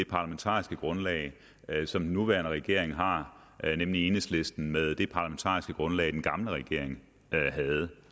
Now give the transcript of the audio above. parlamentariske grundlag som den nuværende regering har nemlig enhedslisten med det parlamentariske grundlag den gamle regering havde